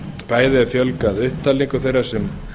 bæði er fjölgað upptalningu þeirra laga sem